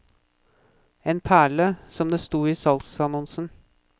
En perle, som det sto i salgsannonsen.